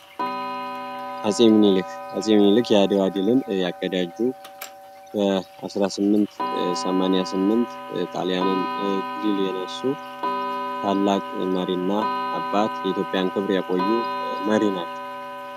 አፄ ሚኒልክ አፄ ሚኒልክ የአድዋ እድልን ያቀዳጁ በ 1888 ኢጣሊያንን ድል የነሱ ታላቅ መሪና አባት የኢትዮጵያን ክብር ያቆዩ መሪ ናቸው።